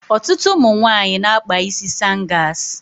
Ọtụtụ ụmụ nwaanyị na-akpa isi sangas.